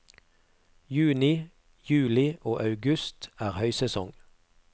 Juni, juli og august er høysesong.